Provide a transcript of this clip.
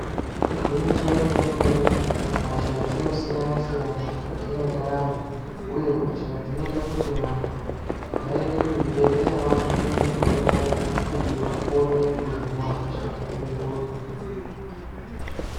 Igwinyiso re mene mene hosha dzino siyana siyana mukati mwe ndaramo uye hosha dzinoita kuti vantu vaende ku zvibhedhlera vazopuwe mutombo kuti vakone kuzo hinwa hosha yona iyoyo.